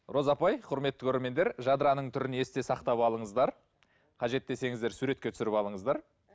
роза апай құрметті көрермендер жадыраның түрін есте сақтап алыңыздар қажет десеңіздер суретке түсіріп алыңыздар